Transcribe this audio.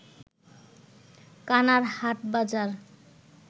কানার হাটবাজার